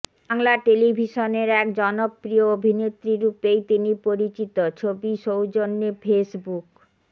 বাংলা টেলিভিশনের এক জনপ্রিয় অভিনেত্রী রূপেই তিনি পরিচিত ছবি সৌজন্যে ফেসবুক